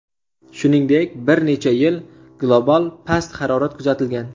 Shuningdek, bir necha yil global past harorat kuzatilgan.